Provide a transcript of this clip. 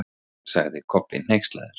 sagði Kobbi hneykslaður.